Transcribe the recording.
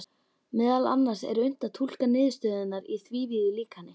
Meðal annars er unnt að túlka niðurstöðurnar í þrívíðu líkani.